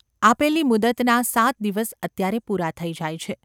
આપેલી મુદ્દતના સાત દિવસ અત્યારે પૂરા થઈ જાય છે.